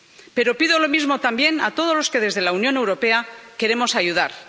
Pero pido lo mismo también a todos los que desde la Unión Europea queremos ayudar.